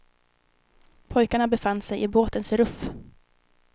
Pojkarna befann sig i båtens ruff.